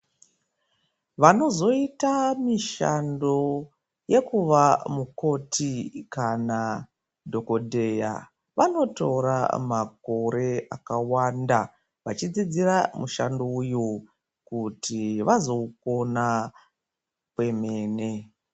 Vanozoita mushando wekuva mukoti kana dhokodheya vanotora makore akawanda vachidzidzira mushando uwu kuti vazoukona kwemene.